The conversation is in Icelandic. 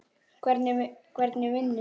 Hvernig vinnu?